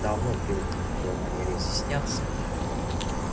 давно привыкнув к его манере изъясняться